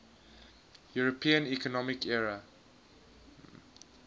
european economic area